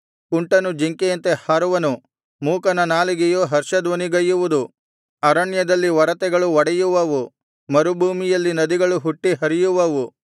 ಕುಂಟನು ಜಿಂಕೆಯಂತೆ ಹಾರುವನು ಮೂಕನ ನಾಲಿಗೆಯು ಹರ್ಷಧ್ವನಿಗೈಯುವುದು ಅರಣ್ಯದಲ್ಲಿ ಒರತೆಗಳು ಒಡೆಯುವವು ಮರುಭೂಮಿಯಲ್ಲಿ ನದಿಗಳು ಹುಟ್ಟಿ ಹರಿಯುವವು